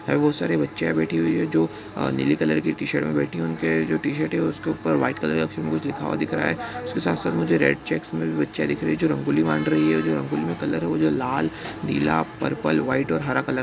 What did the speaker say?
अ बहोत सारे बच्चियाँ बैठी हुई है जो अ- नीली कलर की टी शर्ट मे बैठी हुई। उनके जो टी शर्ट है उसके ऊपर व्हाइट कलर के अक्षर में कुछ लिखा हुआ दिख रहा है। उसके साथ-साथ मुझे रेड चेक्स मे भी बच्चियाँ दिख रही है जो रंगोली बना रही है और जो रंगोली में कलर है वो जो लाल नीला पर्पल व्हाइट और हरा कलर ।